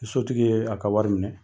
Ni sotigi ye a ka wari minɛ